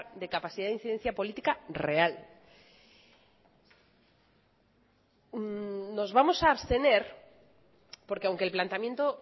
de capacidad de incidencia política real nos vamos a abstener porque aunque el planteamiento